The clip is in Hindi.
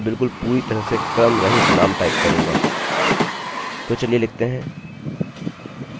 तो चलिए लिखते हैं david green और गेट डेटा पर क्लिक करते हैं और कुछ भी नहीं हुआ ठीक है